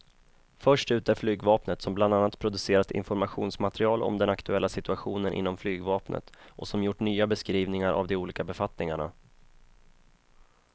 Först ut är flygvapnet som bland annat producerat informationsmaterial om den aktuella situationen inom flygvapnet och som gjort nya beskrivningar av de olika befattningarna.